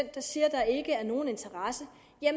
der siger at der ikke er nogen interesse